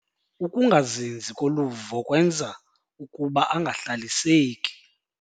Ukungazinzi koluvo kwenza ukuba angahlaliseki.